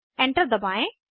enter दबाएं